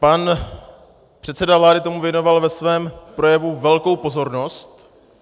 Pan předseda vlády tomu věnoval ve svém projevu velkou pozornost.